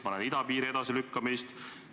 Ma näen idapiiri edasilükkamist.